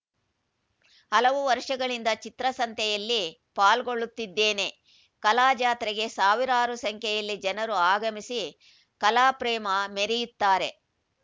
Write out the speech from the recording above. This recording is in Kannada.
ಹಲವು ವರ್ಷಗಳಿಂದ ಚಿತ್ರಸಂತೆಯಲ್ಲಿ ಪಾಲ್ಗೊಳ್ಳುತ್ತಿದ್ದೇನೆ ಕಲಾ ಜಾತ್ರೆಗೆ ಸಾವಿರಾರು ಸಂಖ್ಯೆಯಲ್ಲಿ ಜನರು ಆಗಮಿಸಿ ಕಲಾಪ್ರೇಮ ಮೆರೆಯುತ್ತಾರೆ